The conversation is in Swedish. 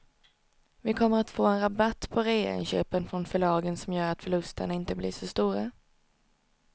Vi kommer att få en rabatt på reainköpen från förlagen som gör att förlusterna inte blir så stora.